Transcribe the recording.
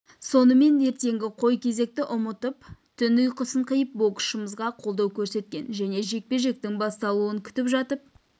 сонымен ертеңгі қой кезекті ұмытып түн ұйқысын қиып боксшымызға қолдау көрсеткен және жекпе-жектің басталуын күтіп жатып